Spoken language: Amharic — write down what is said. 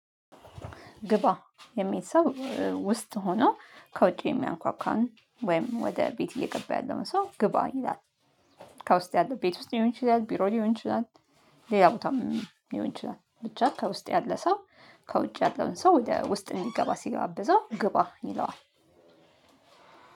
ግባ የሚል ሰው ውስጥ ሆኖ ከውጪ የሚያንኳኳን ወይም ወደ ቤት እየገባ ያለውን ሰው ግባ ይላል። ከውስጥ ያለው ቤት ውስጥ ሊሆን ይችላል ቢሮ ሊሆን ይችላል። ሌላ ቦታም ሊሆን ይችላል ብቻ ከውስጥ ያለ ሰው ከውጭ ያለውን ሰው ወደ ውስጥ እንዲገባ ሲጋብዘው ግባ ይለዋል።